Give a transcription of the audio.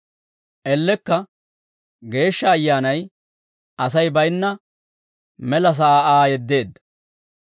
Ellekka Geeshsha Ayyaanay Asay bayinna mela sa'aa Aa yeddeedda.